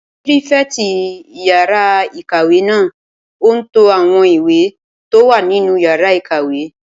Pírífẹ̀tì yàrá-ìkàwé náà n to àwọn ìwé tó wà nínú yàrá ìkàwé